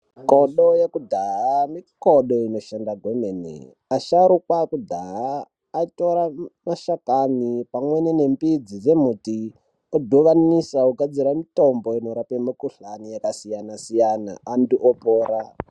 Mikodo yekudhaya mikodo inoshanda kwemene. Asharukwa akudhaya atora mashakani pamweni nembidzi dzembiti odhuvanisa ogadzira mitombo inorape mikuhlani yakasiyana-siyana, antu opora.